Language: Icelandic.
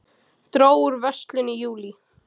Dró úr verslun í júlí